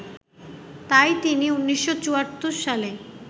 তাই তিনি ১৯৭৪ সালে